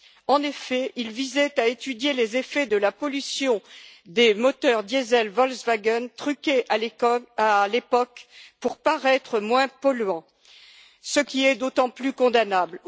En effet, ils visaient à étudier les effets de la pollution des moteurs diesels Volkswagen truqués à l'époque pour paraître moins polluants, ce qui est d'autant plus condamnable.